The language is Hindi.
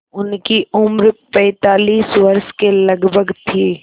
उनकी उम्र पैंतालीस वर्ष के लगभग थी